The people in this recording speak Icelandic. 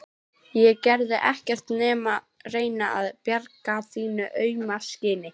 Ég gerði ekkert nema reyna að bjarga þínu auma skinni.